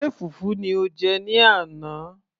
ṣe fùfú ni o jẹ ní àná